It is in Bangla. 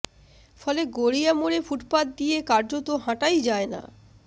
ফলে গড়িয়া মোড়ে ফুটপাথ দিয়ে কার্যত হাঁটাই যায় না